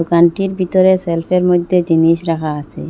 দোকানটির বিতরে সেলফের মইধ্যে জিনিস রাখা আছে।